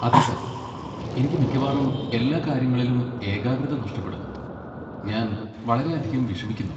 അതെ സർ, എനിക്ക് മിക്കവാറും എല്ലാ കാര്യങ്ങളിലും ഏകാഗ്രത നഷ്ടപ്പെടുന്നു, ഞാൻ വളരെയധികം വിഷമിക്കുന്നു.